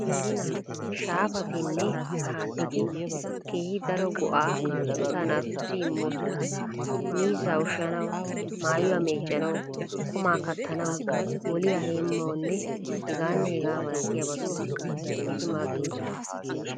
Shaafatinne haattati keehi daro go"aa asaa naatussi immoosona. Miizzaa ushshanawu, maayuwaa meeccanawu, qumaa kattanawu, moliyaa heemmanawunne hegaanne hegaa mallatiyabatissi eti maaddoosona.